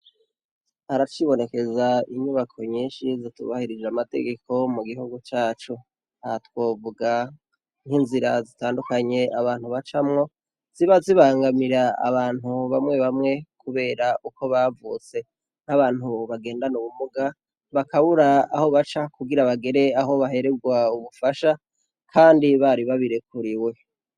Haracibonekeze inyubako nyishi zitubahirije amategeko mu gihugu cacu. Aha twovuga nk'inzira zitandukanye abantu bacamwo ziba zibangamira abantu bamwe bamwe kubera uko bavutse. Nk'abantu bagendana ubumuga, bakabura aho baca kugira bagere aho bahererwa ubufasha kandi bari babirekuriwe.